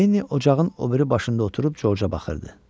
Lenni ocağın o biri başında oturub Corca baxırdı.